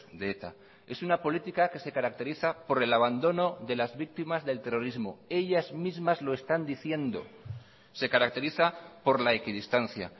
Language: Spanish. de eta es una política que se caracteriza por el abandono de las víctimas del terrorismo ellas mismas lo están diciendo se caracteriza por la equidistancia